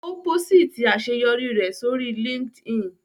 Ó pósìtì àṣeyọrí rẹ̀ sórí LinkedIn